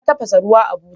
Ya tafasa ruwa a buta.